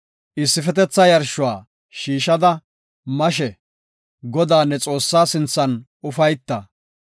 Issifetetha yarshuwa shiishada mashe Godaa, ne Xoossaa sinthan ufayta.